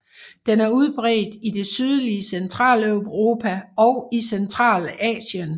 Den er udbredt i det sydlige Centraleuropa og i Centralasien